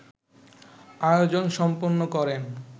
আয়োজন সম্পন্ন করেন